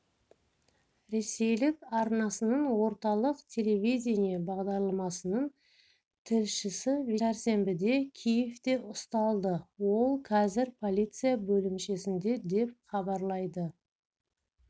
ресейлік арнасының орталық телевидение бағдарламасының тілшісівячеслав немышев сәрсенбіде киевте ұсталды ол қазір полиция бөлімшесінде деп хабарлайды